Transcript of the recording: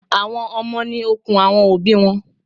Àwọn Ọmọ ni okun àwọn òbí wọn.